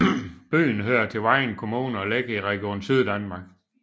Byen hører til Vejen Kommune og ligger i Region Syddanmark